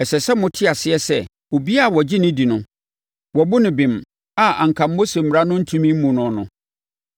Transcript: Ɛsɛ sɛ mote aseɛ sɛ, obiara a ɔgye no di no, wɔabu no bem a anka Mose mmara ntumi mmu no no.